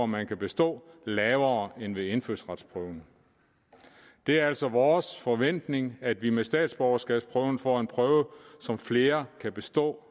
man kan bestå lavere end ved indfødsretsprøven det er altså vores forventning at vi med statsborgerskabsprøven får en prøve som flere kan bestå